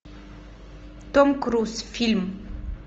том круз фильм